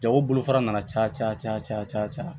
Jago bolofara nana caya caya caya caya